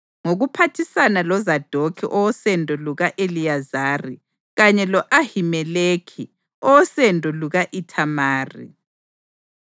Ngokuphathisana loZadokhi owosendo luka-Eliyazari kanye lo-Ahimeleki owosendo luka-Ithamari, uDavida wabehlukanisa ngezigaba kusiya ngemisebenzi ababemele bayenze.